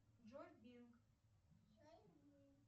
джой бинг